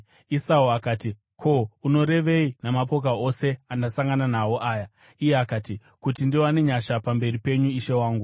Esau akati, “Ko, unorevei namapoka ose andasangana nawo aya?” Iye akati, “Kuti ndiwane nyasha pamberi penyu, ishe wangu.”